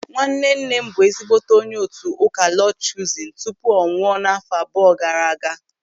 Nwannenne m bụ ezigbote onye otu ụka Lọọd Chuuzin tupu ọ nwụọ n'àfọ́ abụọ gaara aga.